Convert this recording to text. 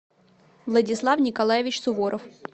владислав николаевич суворов